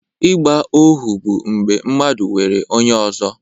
Ịgba ohu bụ mgbe mmadụ nwere onye ọzọ